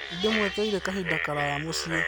Nĩ ndĩmwetereire kahinda karaya mũciĩ